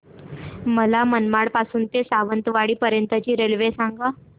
मला मनमाड पासून तर सावंतवाडी पर्यंत ची रेल्वेगाडी सांगा